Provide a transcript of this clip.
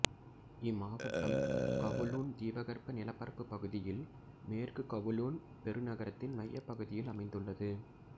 இம்மாவட்டம் கவுலூன் தீபகற்ப நிலப்பரப்பு பகுதியில் மேற்கு கவுலூன் பெருநகரத்தின் மையப் பகுதியில் அமைந்துள்ளது